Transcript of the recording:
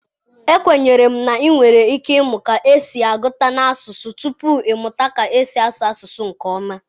Ekwenyere m na ị nwere ike ịmụ ka esi agụta n'asụsụ tupu ị mụta ka esi asụ asụsụ nke ọma